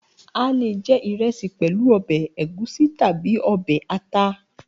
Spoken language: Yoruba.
A lè je ìrẹsì pẹ̀lú ọbẹ̀ ẹ̀gúsí tàbí ọbẹ̀ ata.